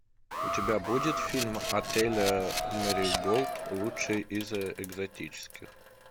у тебя будет фильм отель мэриголд лучший из экзотических